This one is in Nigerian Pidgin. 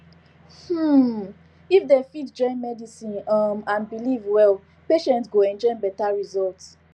um if dem fit join medicine um and belief well patients go enjoy better result